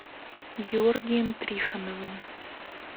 георгием трифоновым